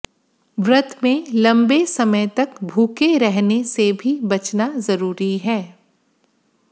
व्रत में लंबे समय तक भूखे रहने से भी बचना जरूरी है